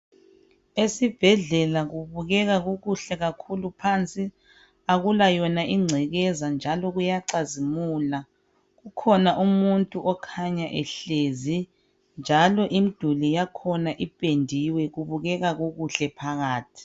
esibhedlela kubukeka kukuhle kakhulu phansi akula yona ingcekeza njalo kuyacazimula kukhona umuntu okhanya ehlezi njalo imiduli yakhona ipendiwe kubukeka kukhle phakathi